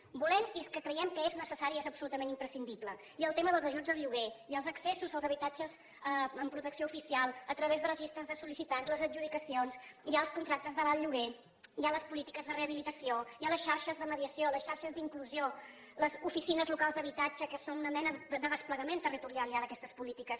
ho volem i és que creiem que és necessari i és absolutament imprescindible hi ha el tema dels ajuts al lloguer hi ha els accessos als habitatges amb protecció oficial a través de registres de sol·licitants les adjudicacions hi ha els contractes de l’alt lloguer hi ha les polítiques de rehabilitació hi ha les xarxes de mediació les xarxes d’inclusió les oficines locals d’habitatge que són una mena de desplegament territorial ja d’aquestes polítiques